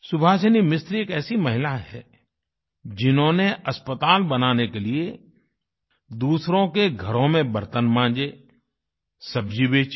सुभासिनी मिस्त्री एक ऐसी महिला हैं जिन्होंने अस्पताल बनाने के लिए दूसरों के घरों में बर्तन मांजे सब्जी बेची